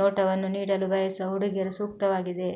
ನೋಟವನ್ನು ನೀಡಲು ಬಯಸುವ ಹುಡುಗಿಯರು ಸೂಕ್ತವಾಗಿದೆ